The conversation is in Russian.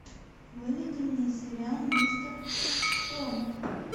выведи мне сериал мистер робот